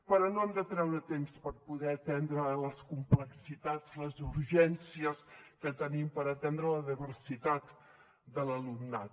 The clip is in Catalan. però no hem de treure temps per poder atendre les complexitats les urgències que tenim per atendre la diversitat de l’alumnat